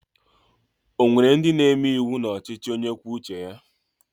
O nwere ndị na-eme iwu n'ọchịchị onye kwuo uche ya?